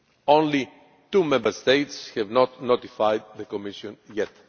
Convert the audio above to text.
Only two Member States have not notified the Commission yet.